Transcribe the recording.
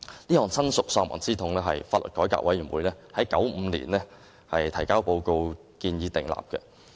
這項親屬喪亡之痛是法律改革委員會在1995年提交報告建議訂立的。